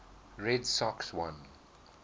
red sox won